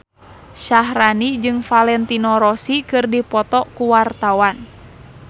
Syaharani jeung Valentino Rossi keur dipoto ku wartawan